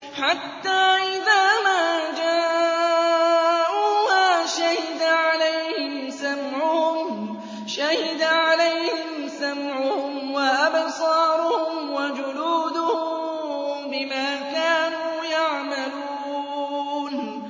حَتَّىٰ إِذَا مَا جَاءُوهَا شَهِدَ عَلَيْهِمْ سَمْعُهُمْ وَأَبْصَارُهُمْ وَجُلُودُهُم بِمَا كَانُوا يَعْمَلُونَ